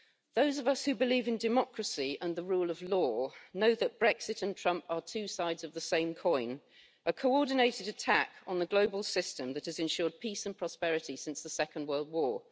Those of us who believe in democracy and the rule of law know that Brexit and Trump are two sides of the same coin a coordinated attack on the global system that has ensured peace and prosperity since the Second World War.